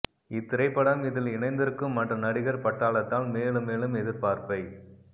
இத்திரைப்படம் இதில் இணைந்திருக்கும் மற்ற நடிகர் பட்டாளத்தால் மேலும் மேலும் எதிர்பார்ப்பை